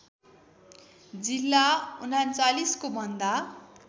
जिल्ला ३९को भन्दा